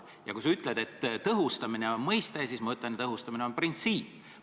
Ja kui sina ütled, et tõhustamine on mõiste, siis mina ütlen, et tõhustamine on printsiip.